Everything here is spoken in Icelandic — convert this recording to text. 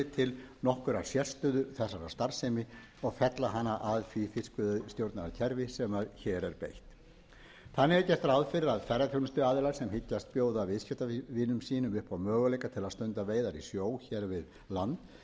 til nokkurrar sérstöðu þessarar starfsemi og fella hana að því fiskveiðistjórnarkerfi sem hér er beitt þannig er gert ráð fyrir að ferðaþjónustuaðilar sem hyggjast bjóða viðskiptamönnum sínum upp á möguleika til að stunda veiðar í sjó hér við land